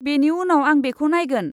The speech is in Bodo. बेनि उनाव आं बेखौ नायगोन।